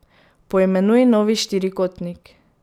Poimenuj novi štirikotnik.